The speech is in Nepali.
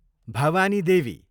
भवानी देवी